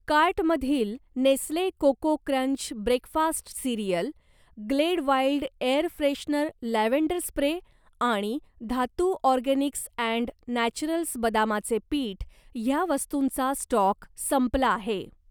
कार्टमधील Nestle cocoa crunch breakfast cereal, glade wild air freshener lavender spray आणि Dhatu organics and naturals बदामाचे पीठ ह्या वस्तूंचा स्टॉक संपला आहे.